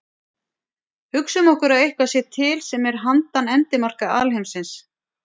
Hugsum okkur að eitthvað sé til sem er handan endimarka alheimsins.